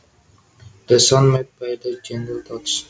The sound made by the gentle touch